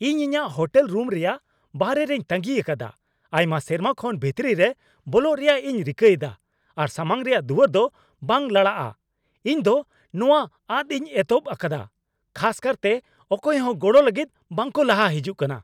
ᱤᱧ ᱤᱧᱟᱹᱜ hotel room ᱨᱮᱭᱟᱜ ᱵᱟᱦᱨᱮ ᱨᱮᱧ ᱛᱟᱺᱜᱤ ᱟᱠᱟᱫᱟ ᱟᱭᱢᱟ ᱥᱮᱨᱢᱟ ᱠᱷᱚᱱ ᱵᱷᱤᱛᱤᱨ ᱨᱮ ᱵᱚᱞᱚᱜ ᱨᱮᱭᱟᱜ ᱤᱧ ᱨᱤᱠᱟᱹ ᱮᱫᱟ, ᱟᱨ ᱥᱟᱢᱟᱝ ᱨᱮᱭᱟᱜ ᱫᱩᱣᱟᱹᱨ ᱫᱚ ᱵᱟᱝ ᱞᱟᱲᱟᱜᱼᱟ !ᱤᱧ ᱫᱚ ᱱᱚᱶᱟ ᱟᱫ ᱤᱧ ᱮᱛᱚᱦᱚᱵ ᱟᱠᱟᱫᱟ, ᱠᱷᱟᱥ ᱠᱟᱨᱛᱮ ᱚᱠᱚᱭ ᱦᱚᱸ ᱜᱚᱲᱚ ᱞᱟᱹᱜᱤᱫ ᱵᱟᱝᱠᱚ ᱞᱟᱦᱟ ᱦᱤᱡᱩᱜ ᱠᱟᱱᱟ ᱾